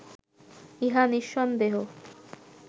ইহা নিঃসন্দেহ